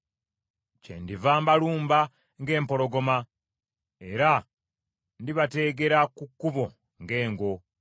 Kyendiva mbalumba ng’empologoma, era ndibateegera ku kkubo ng’engo.